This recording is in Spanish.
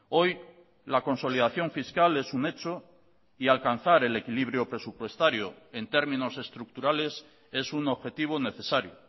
hoy la consolidación fiscal es un hecho y alcanzar el equilibrio presupuestario en términos estructurales es un objetivo necesario